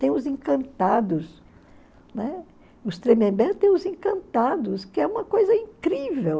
Tem os encantados, né, os Tremembé tem os encantados, que é uma coisa incrível.